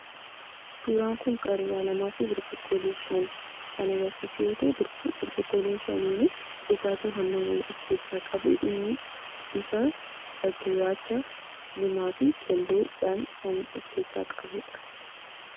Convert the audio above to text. Suuraan kun qaruuraa lamaafi burcuqqoolee shan kan agarsiisu yoo ta'u, burcuqqoolee shaniinuu dhugaatii hamma wayii of keessaa qabu. Innis bifa gurraacha, diimaafi keelloodhaan kan of keessaa qabudha.